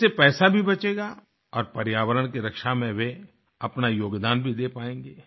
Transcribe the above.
इससे पैसा भी बचेगा और पर्यावरण की रक्षा में वे अपना योगदान भी दे पायेंगे